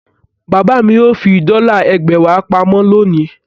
Bàbá mi yóò fi dọ́là ẹgbẹ̀wá pa mọ́ lónìí.